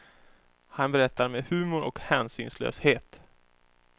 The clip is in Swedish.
Han berättar med humor och hänsynslöshet.